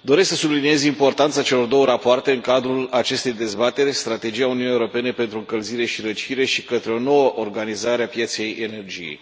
doresc să subliniez importanța celor două rapoarte în cadrul acestei dezbateri, Strategia UE pentru încălzire și răcire și Către o nouă organizare a pieței energiei.